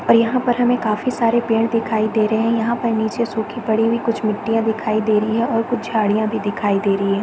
और यहाँ पर हमे काफी सारे पेड़ दिखाई दे रहे है यहाँ पर नीचे सुखी पड़ी हुई कुछ मिट्टिया दिखाई दे रही है और कुछ झाड़ियाँ भी दिखाई दे रही है।